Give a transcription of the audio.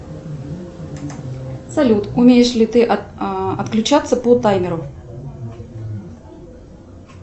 салют умеешь ли ты отключаться по таймеру